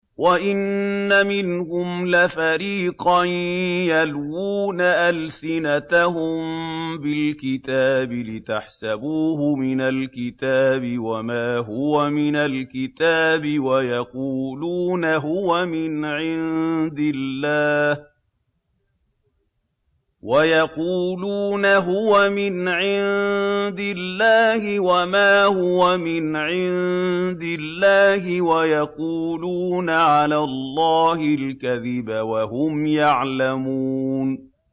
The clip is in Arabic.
وَإِنَّ مِنْهُمْ لَفَرِيقًا يَلْوُونَ أَلْسِنَتَهُم بِالْكِتَابِ لِتَحْسَبُوهُ مِنَ الْكِتَابِ وَمَا هُوَ مِنَ الْكِتَابِ وَيَقُولُونَ هُوَ مِنْ عِندِ اللَّهِ وَمَا هُوَ مِنْ عِندِ اللَّهِ وَيَقُولُونَ عَلَى اللَّهِ الْكَذِبَ وَهُمْ يَعْلَمُونَ